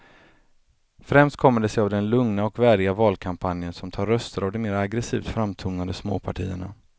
Främst kommer det sig av den lugna och värdiga valkampanjen som tar röster av de mer aggresivt framtonade småpartierna.